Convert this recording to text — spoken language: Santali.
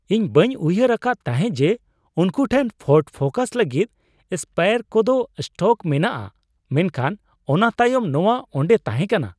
ᱤᱧ ᱵᱟᱹᱧ ᱩᱭᱦᱟᱹᱨ ᱟᱠᱟᱫ ᱛᱟᱦᱮᱸᱜ ᱡᱮ ᱩᱱᱠᱩ ᱴᱷᱮᱱ ᱯᱷᱳᱨᱰ ᱯᱷᱳᱠᱟᱥ ᱞᱟᱹᱜᱤᱫ ᱥᱯᱮᱭᱟᱨ ᱠᱚᱫᱚ ᱥᱴᱚᱠ ᱢᱮᱱᱟᱜᱼᱟ ᱢᱮᱱᱠᱷᱟᱱ ᱚᱱᱟ ᱛᱟᱭᱚᱢ ᱱᱚᱣᱟ ᱚᱸᱰᱮ ᱛᱟᱦᱮᱠᱟᱱᱟ ᱾